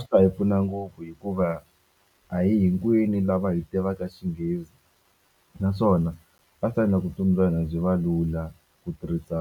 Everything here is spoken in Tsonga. Swi ta hi pfuna ngopfu hikuva a hi hinkwenu lava hi tivaka xinghezi naswona a swi ta endla ku vutomi bya hina byi va lula ku tirhisa